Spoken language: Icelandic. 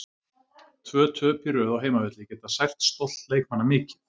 Tvö töp í röð á heimavelli geta sært stolt leikmanna mikið.